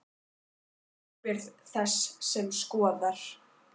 Hver er ábyrgð þess sem skoðar?